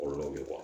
Olu bɛ bɔ